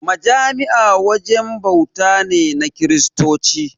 Majami'a wajen bauta ne na Kiristoci.